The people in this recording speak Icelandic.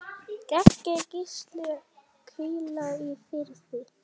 Megi Gísli hvíla í friði.